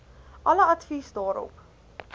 alle advies daarop